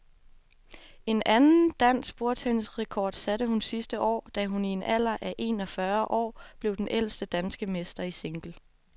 En anden dansk bordtennisrekord satte hun sidste år, da hun i en alder af en og fyrre år blev den ældste danske mester i single.